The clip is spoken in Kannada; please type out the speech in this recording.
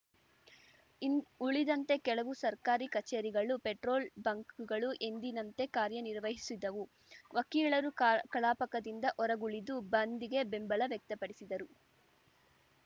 ಇನ್ ಉಳಿದಂತೆ ಕೆಲವು ಸರ್ಕಾರಿ ಕಚೇರಿಗಳು ಪೆಟ್ರೋಲ್‌ ಬಂಕ್‌ಗಳು ಎಂದಿನಂತೆ ಕಾರ್ಯ ನಿರ್ವಹಿಸಿದವು ವಕೀಲರು ಕಲ್ ಕಲಾಪಕದಿಂದ ಹೊರಗುಳಿದು ಬಂದ್‌ಗೆ ಬೆಂಬಲ ವ್ಯಕ್ತಪಡಿಸಿದರು